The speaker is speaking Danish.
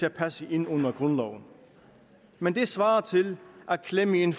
at passe ind under grundloven men det svarer til at klemme en